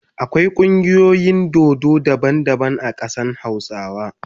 Akwai kungiyoyin dodo daban daban a kadan hausawa.